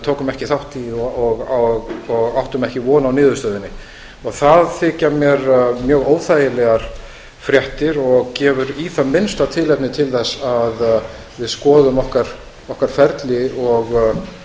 tókum ekki þátt í og áttum ekki von á niðurstöðunni það þykja mér mjög óþægilegar fréttir og gefur í það minnsta tilefni til að við skoðum okkar ferli